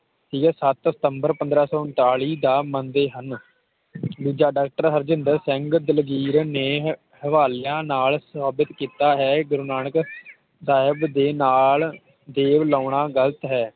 ਠੀਕ ਏ ਸੱਤ ਸਤੰਬਰ ਪੰਦ੍ਰਹ ਸੌ ਉਨਤਾਲੀ ਦਾ ਮੰਨਦੇ ਹਨ ਦੂਜਾ ਡਾਕਟਰ ਹਰਜਿੰਦਰ ਸਿੰਘ ਦਲਗੀਰ ਨੇ ਹਵਾਲਿਆਂ ਨਾਲ ਸਾਬਿਤ ਕੀਤਾ ਹੈ ਗੁਰੂ ਨਾਨਕ ਸਾਹਿਬ ਦੇ ਨਾਲ ਦੇਵ ਲਾਉਣਾ ਗ਼ਲਤ ਹੈ